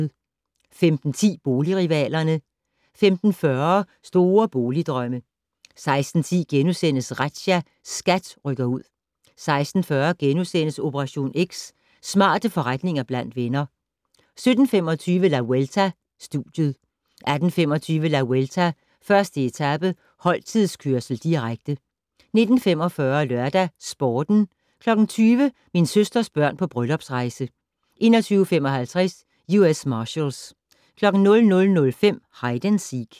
15:10: Boligrivalerne 15:40: Store boligdrømme 16:10: Razzia - SKAT rykker ud * 16:40: Operation X: Smarte forretninger blandt venner * 17:25: La Vuelta: Studiet 18:25: La Vuelta: 1. etape - holdtidskørsel, direkte 19:45: LørdagsSporten 20:00: Min søsters børn på bryllupsrejse 21:55: U.S. Marshals 00:05: Hide and Seek